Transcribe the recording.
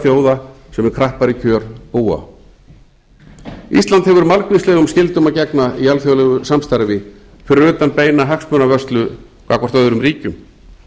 þjóða sem við krappari kjör búa ísland hefur margvíslegum skyldum að gegna í alþjóðlegu samstarfi fyrir utan beina hagsmunavörslu gagnvart öðrum ríkjum